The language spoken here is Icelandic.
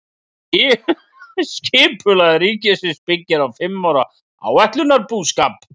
Skipulag ríkisins byggir á fimm ára áætlunarbúskap.